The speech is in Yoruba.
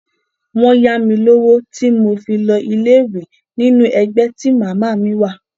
Wọ́n yá mi lówó tí mo fi lọ ilé ìwé nínú ẹgbẹ́ tí màmá mi wà.